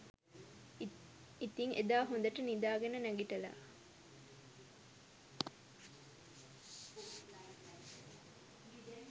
ඉතිං එදා හොඳට නිදාගෙන නැගිටලා